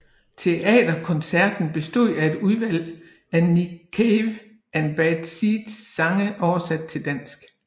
Teaterkoncerten bestod af et udvalg af Nick Cave and Bad Seeds sange oversat til dansk